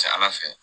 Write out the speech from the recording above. Ca ala fɛ